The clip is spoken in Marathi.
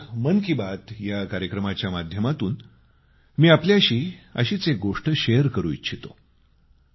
आज मन की बात या कार्यक्रमाच्या माध्यमातून मी आपल्याशी अशीच एक गोष्ट शेअर करू इच्छितो